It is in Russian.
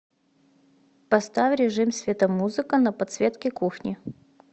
поставь режим светомузыка на подсветке кухни